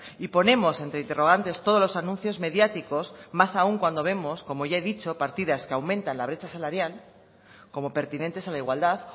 y ponemos entre interrogantes todos los anuncios mediáticos más aún cuando vemos como ya he dicho partidas que aumentan la brecha salarial como pertinentes a la igualdad